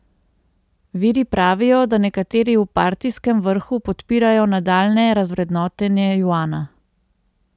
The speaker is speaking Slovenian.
Viri pravijo, da nekateri v partijskem vrhu podpirajo nadaljnje razvrednotenje juana.